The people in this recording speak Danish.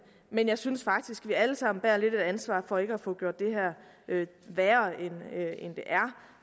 men jeg synes faktisk at vi alle sammen bærer lidt af ansvaret for ikke at få gjort det her værre